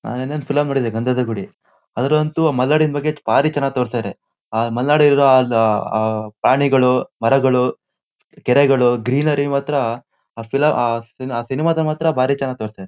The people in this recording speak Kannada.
ಆ ನಿನ್ನೆ ಒಂದ್ ಫಿಲಮ್ ನೋಡಿದೆ ಗಂದಧ ಗುಡಿ. ಅದರಲ್ಲಂತೂ ಮಲೆನಾಡಿನ ಬಗ್ಗೆ ಭಾರಿ ಚೆನ್ನಾಗ್ ತೋರ್ಸಿದಾರೆ. ಅಹ ಮಲೆನಾಡಿನಲ್ಲಿರೋ ಅಹ ಅಹ ಪ್ರಾಣಿಗಳು ಮರಗಳು ಕೆರೆಗಳು ಗ್ರಿನರಿ ಮಾತ್ರ ಆ ಫಿಲ್ ಆ ಸಿ ಆ ಸಿನಮಾದಲ್ಲಿ ಮಾತ್ರ ಭಾರಿ ಚೆನ್ನಾಗ್ ತೋರ್ಸಿದಾ--